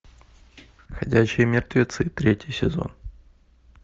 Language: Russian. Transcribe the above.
ходячие мертвецы третий сезон